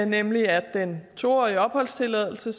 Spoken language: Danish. nemlig at den to årige opholdstilladelse